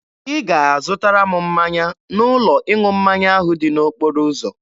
Ị ga-azụtara m mmanya n'ụlọ ịṅụ mmanya ahụ dị n'okporo ụzọ.